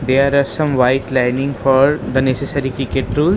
There are some white lining for the necessary cricket rule.